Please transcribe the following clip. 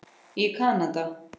í Kanada.